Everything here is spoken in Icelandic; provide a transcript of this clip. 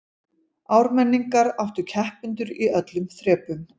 Ármenningar áttu keppendur í öllum þrepum